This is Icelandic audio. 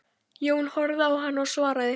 Jón horfði á hana og svaraði